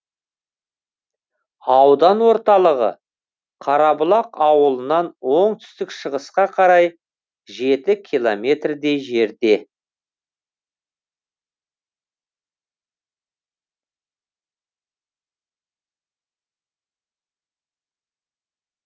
аудан орталығы қарабұлақ ауылынан оңтүстік шығысқа қарай жеті километрдей жерде